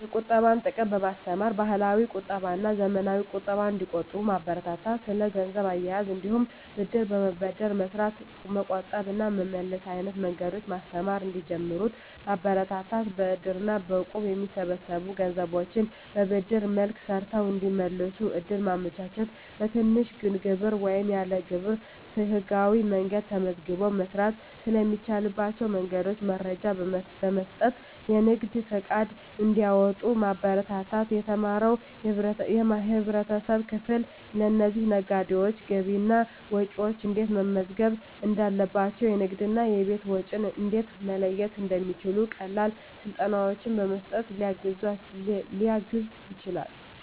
የቁጠባን ጥቅም በማስተማር፣ ባህላዊ ቁጠባና ዘመናዊ ቁጠባን እንዲቆጥቡ ማበረታታት። ስለ ገንዘብ አያያዝ እንዲሁም ብድር በመበደር በመስራት መቆጠብ እና መመለስ አይነት መንገዶችን በማስተማር እንዲጀምሩት ማበረታታት። በእድር እና በእቁብ የሚሰበሰቡ ገንዘቦችን በብድር መልክ ሰርተው እንዲመልሱ እድል ማመቻቸት። በትንሽ ግብር ወይም ያለ ግብር በህጋዊ መንገድ ተመዝግቦ መስራት ስለሚቻልባቸው መንገዶች መረጃ በመስጠት የንግድ ፈቃድ እንዲያወጡ ማበረታታት። የተማረው የህብረተሰብ ክፍል ለእነዚህ ነጋዴዎች ገቢና ወጪያቸውን እንዴት መመዝገብ እንዳለባቸው፣ የንግድና የቤት ወጪን እንዴት መለየት እንደሚችሉ ቀላል ስልጠናዎችን በመስጠት ሊያግዝ ይችላል።